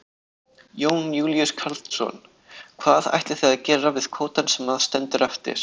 Jón Júlíus Karlsson: Hvað ætlið þið að gera við kvótann sem að stendur eftir?